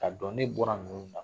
K'a dɔn ne bɔra ninnu na